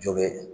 Jo bɛ